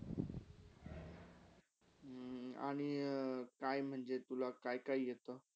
हम्म आणि अं काई काय म्हणजे काय - काय येता?